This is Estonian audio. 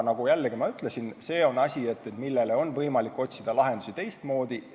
Aga jällegi, nagu ma ütlesin, see on asi, millele on võimalik otsida lahendusi teistmoodi.